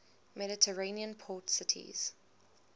mediterranean port cities